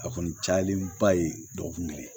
A kɔni cayalenba ye dɔgɔkun kelen